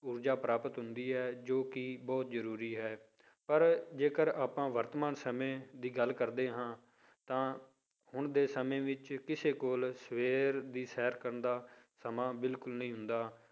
ਊਰਜਾ ਪ੍ਰਾਪਤ ਹੁੰਦੀ ਹੈ ਜੋ ਕਿ ਬਹੁਤ ਜ਼ਰੂਰੀ ਹੈ ਪਰ ਜੇਕਰ ਆਪਾਂ ਵਰਤਮਾਨ ਸਮੇਂ ਦੀ ਗੱਲ ਕਰਦੇ ਹਾਂ ਤਾਂ ਹੁਣ ਦੇ ਸਮੇਂ ਵਿੱਚ ਕਿਸੇ ਕੋਲ ਸਵੇਰ ਦੀ ਸੈਰ ਕਰਨ ਦਾ ਸਮਾਂ ਬਿਲਕੁਲ ਨਹੀਂ ਹੁੰਦਾ।